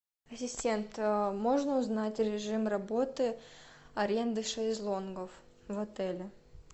ассистент можно узнать режим работы аренды шезлонгов в отеле